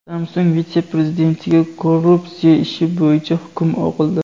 Samsung vitse-prezidentiga korrupsiya ishi bo‘yicha hukm o‘qildi.